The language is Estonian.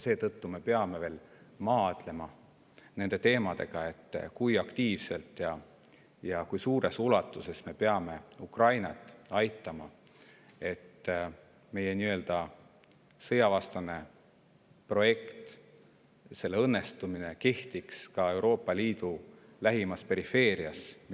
Seetõttu me peame veel maadlema nende teemadega, et kui aktiivselt ja kui suures ulatuses me peame Ukrainat aitama, et meie sõjavastane projekt õnnestuks ka Euroopa Liidu lähimas perifeerias.